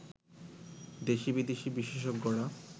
দেশি-বিদেশি বিশেষজ্ঞরা